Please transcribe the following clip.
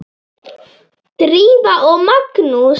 Drífa og Magnús.